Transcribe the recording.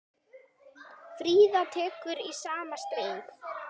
Fríða tekur í sama streng.